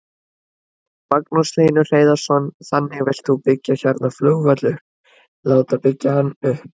Magnús Hlynur Hreiðarsson: Þannig að þú vilt byggja hérna flugvöll upp, láta byggja hann upp?